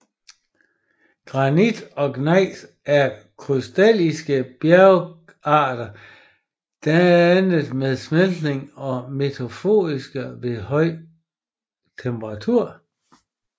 Granit og gnejs er krystallinske bjergarter dannet ved smeltning og metamorfose ved høj temperatur